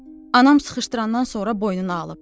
Anam sıxışdırandan sonra boynuna alıb.